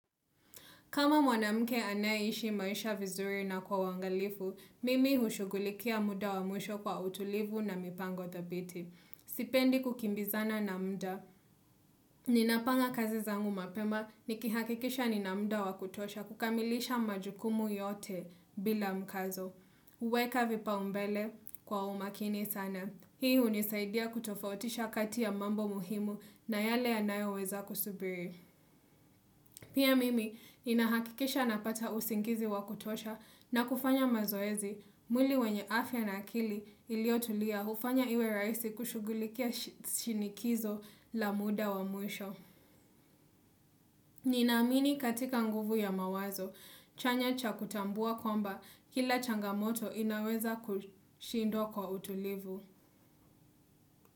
Kama mwanamke anaye ishi maisha vizuri na kwa wangalifu, mimi hushugulikia muda wa mwisho kwa utulivu na mipango thabiti. Sipendi kukimbizana na mda. Ninapanga kazi zangu mapema nikihakikisha ninamda wa kutosha kukamilisha majukumu yote bila mkazo. Kuweka vipau mbele kwa umakini sana. Hii unisaidia kutofautisha kati ya mambo muhimu na yale yanayo weza kusubiri. Pia mimi ninahakikisha napata usingizi wakutosha na kufanya mazoezi mwili wenye afya na akili iliotulia ufanya iwe raisi kushugulikia shinikizo la muda wa mwisho. Ninamini katika nguvu ya mawazo, chanya cha kutambua kwamba kila changamoto inaweza kushindwa kwa utulivu.